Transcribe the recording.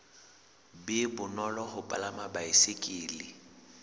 be bonolo ho palama baesekele